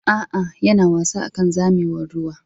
A'a, yana wasa akan zamewar ruwa.